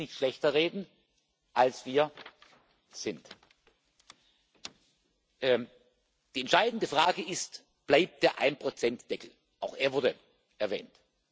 Wir sollten uns nicht schlechter reden, als wir sind. Die entscheidende Frage ist Bleibt der Ein Prozent Deckel auch er wurde erwähnt.